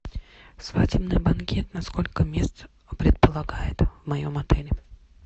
свадебный банкет на сколько мест предполагает в моем отеле